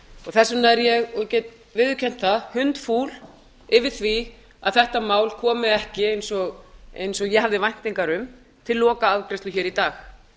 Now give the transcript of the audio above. þess vegna er ég og get viðurkennt það hundfúl yfir því að þetta mál komi ekki eins og ég hafði væntingar um til lokaafgreiðslu í dag